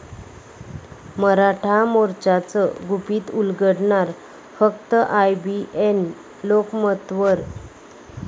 मराठा मोर्चाचं गुपित उलगडणार फक्त आयबीएन लोकमतवर